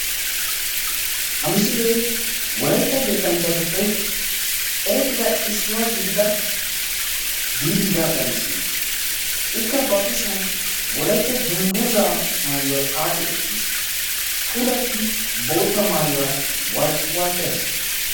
Ha misilee wolaytta yettanchchatuppe erettida issuwa gidida Diidi Gaagga misiliya. Ikka ba kushiyan Wolaytta dungguzaa maayuwaa xaaxi uttiis. Puulattidi bootta maayuwara walqqi-walqqees.